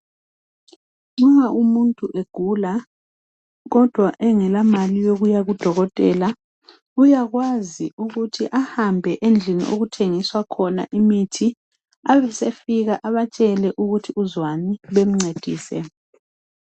Uma umuntu egula, kodwa engela mali yokuya kudokotela. Uyakwazi ukuthi ahambe endlini khona imithi ebe sefika abatshele ukuthi uzwani bencedise.